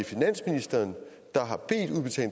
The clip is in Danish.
finansministeren